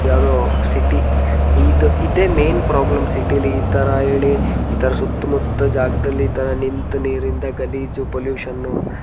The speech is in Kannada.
ಯಾವುದೋ ಸಿಟಿ ಇದೆ ಮೇನ್ ಪ್ರಾಬ್ಲಮ್ ಸಿಟಿಯಲ್ಲಿ ಇದರ ಸುತ್ತುಮುತ್ತಲು ಜಾಗದಲ್ಲಿ ಇತರ ನಿಂತು ನೀರಿನಿಂದ ಪೊಲ್ಲ್ಯೂಷನ್.